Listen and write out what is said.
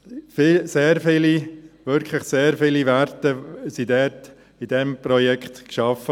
Sehr viele – wirklich sehr viele – Werte wurden in diesem Projekt geschaffen.